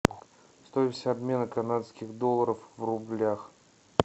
стоимость обмена канадских долларов в рублях